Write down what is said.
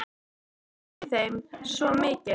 Samt felst í þeim svo mikið.